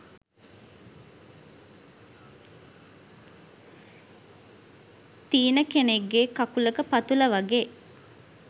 තීන කෙනෙක්ගෙ කකුලක පතුල වගේ.